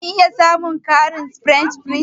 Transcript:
Zan iya samun ƙarin french fries?